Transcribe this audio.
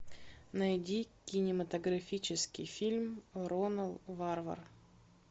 найди кинематографический фильм ронал варвар